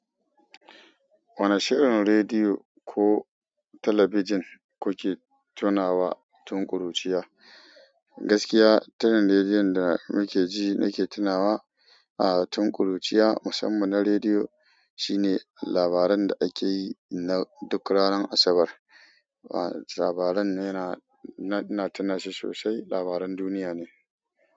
Wane shirin rediyo ko talabijin kuke tunawa tun ƙuruciya? Gaskiya, turin rediyon da mukeji nake tunawa, ah, tun ƙuruciya. Musamman na rediyo shine labaran da akeyi na duk ranar Asabar. Ah, labaran yana, ina tunashi sosai, labaran duniyane.